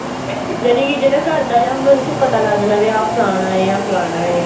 ਜਾਨੀ ਕੀ ਜਿਹੜਾ ਘਰ ਦਾ ਵਿਆਹ ਹੁੰਦਾ ਉਹਦੇ ਚ ਪਤਾ ਲੱਗ ਜਾਂਦਾ ਵੀ ਆਹ ਫਲਾਨਾ ਹੈ